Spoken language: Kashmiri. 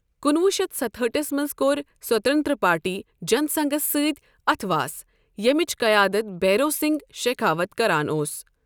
کُنہٕ وُہ شتھ ستہٲٹھس منز كو٘ر سوتنترا پارٹی جن سنگھس سۭتۍ اتھہٕ واس، یمِچ قیادت بھیرو سِنگھ شیكھاوت كران اوس ۔